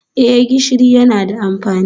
Eh gishiri yana da amfani